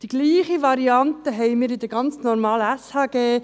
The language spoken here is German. Die gleiche Variante haben wir im ganz normalen SHG.